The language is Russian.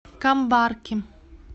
камбарки